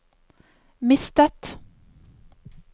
mistet